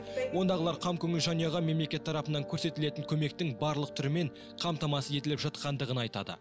ондағылар қамкөңіл жанұяға мемлекет тарапынан көрсетілетін көмектің барлық түрімен қамтамасыз етіліп жатқандығын айтады